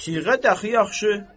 Siğə dəxi yaxşı.